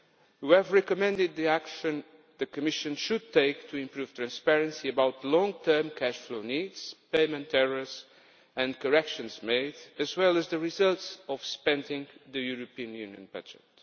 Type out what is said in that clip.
We have recommended the action the Commission should take to improve transparency about long-term cash flow needs, payment errors and corrections made, as well as the results of spending the European Union budget.